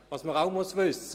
Zudem muss man wissen: